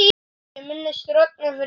Ég minnist Rögnu fyrir margt.